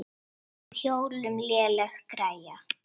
Á hjólum léleg græja.